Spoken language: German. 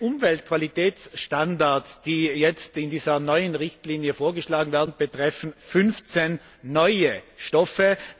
Die Umweltqualitätsstandards, die jetzt in dieser neuen Richtlinie vorgeschlagen werden, betreffen 15neue Stoffe.